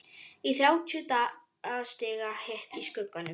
Í þrjátíu stiga hita, í skugganum.